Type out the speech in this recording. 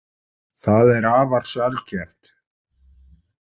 Það er afar sjaldgæft.